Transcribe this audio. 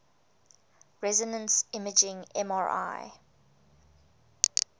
resonance imaging mri